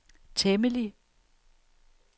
temmelig